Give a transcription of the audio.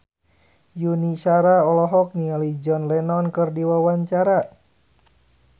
Yuni Shara olohok ningali John Lennon keur diwawancara